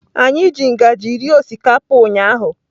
Anyị ji ngaji rie osikapa ụnyahụ.